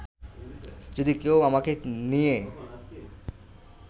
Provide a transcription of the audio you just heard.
যদি কেউ আমাকে নিয়ে